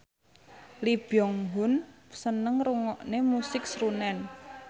Lee Byung Hun seneng ngrungokne musik srunen